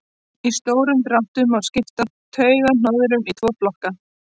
í stórum dráttum má skipta taugahnoðum í tvo flokka